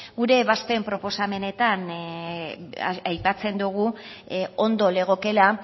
gure ebazpen proposamenetan aipatzen dogu ondo legokeela